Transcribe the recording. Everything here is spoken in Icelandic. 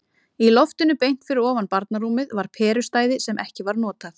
Í loftinu beint fyrir ofan barnarúmið var perustæði sem ekki var notað.